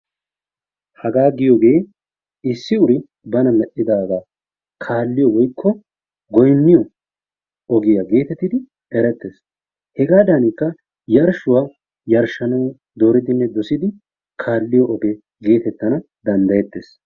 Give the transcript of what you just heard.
Hagaa giyogee issi uri bana medhdhidagaa kaalliyo woykko goyniyo ogiya geetettidi erettees. Hegaadankka yarshshuwa yarshshanawu dooridinne dosidi kaalliyo ogee geetettana danddayettees.